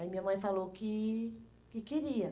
Aí minha mãe falou que que queria.